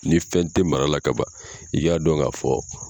Ni fɛn tɛ mara la ka ban i y'a dɔn ka fɔ.